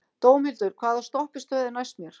Dómhildur, hvaða stoppistöð er næst mér?